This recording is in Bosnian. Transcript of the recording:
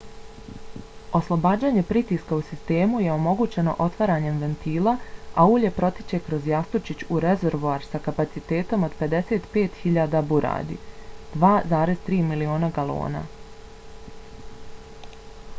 oslobađanje pritiska u sistemu je omogućeno otvaranjem ventila a ulje protiče kroz jastučić u rezervoar sa kapacitetom od 55.000 buradi 2,3 miliona galona